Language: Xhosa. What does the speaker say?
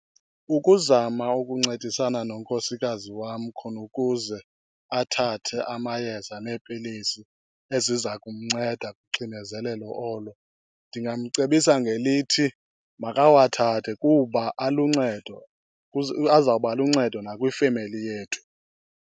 Ukuzama ukuncedisana nonkosikazi wam khona ukuze athathe amayeza neepilisi eziza kumnceda kuxinezelelo olo, ndingamcebisa ngelithi makawathathe kuba aluncedo, azawubaluncedo nakwifemeli yethu.